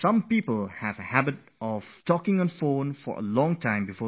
There are some who are in the habit of chatting over the phone for long hours before going to sleep